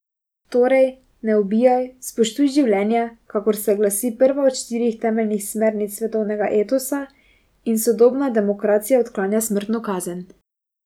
Torej, ne ubijaj, spoštuj življenje, kakor se glasi prva od štirih temeljnih smernic svetovnega etosa in sodobna demokracija odklanja smrtno kazen.